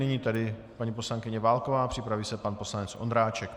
Nyní tedy paní poslankyně Válková, připraví se pan poslanec Ondráček.